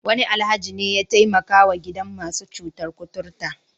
Wani Alhaji ne ya taimakawa gidan masu cutar kuturta.